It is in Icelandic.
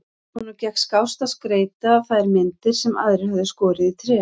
Honum gekk skást að skreyta þær myndir sem aðrir höfðu skorið í tré.